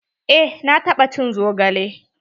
Eh na taɓa cin zogale.